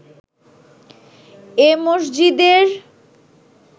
এ মসজিদের